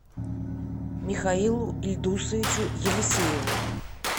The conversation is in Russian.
михаилу ильдусовичу елисееву